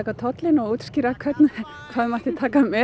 tollinn og útskýra hvað mátti taka með